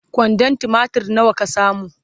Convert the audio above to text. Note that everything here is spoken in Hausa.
kwandon tumatir nawa ka samu?